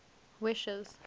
wishes